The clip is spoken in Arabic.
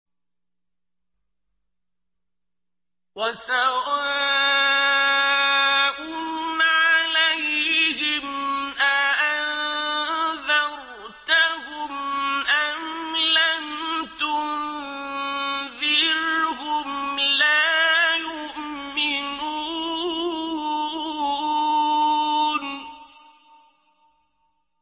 وَسَوَاءٌ عَلَيْهِمْ أَأَنذَرْتَهُمْ أَمْ لَمْ تُنذِرْهُمْ لَا يُؤْمِنُونَ